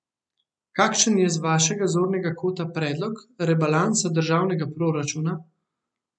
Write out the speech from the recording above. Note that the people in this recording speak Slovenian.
Kakšen je z vašega zornega kota predlog rebalansa državnega proračuna?